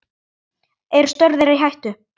Eru störf þeirra í hættu?